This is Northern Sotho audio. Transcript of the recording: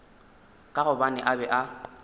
ka gobane a be a